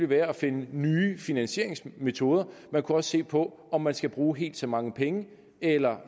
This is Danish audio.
være at finde nye finansieringsmetoder man kunne også se på om man skal bruge helt så mange penge eller